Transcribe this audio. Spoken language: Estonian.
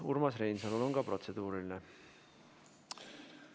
Ka Urmas Reinsalul on protseduuriline küsimus.